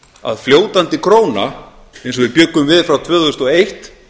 að fljótandi króna eins og við bjuggum til frá tvö þúsund og eitt